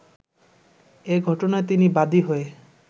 এ ঘটনায় তিনি বাদী হয়ে